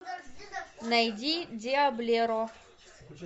найди диаблеро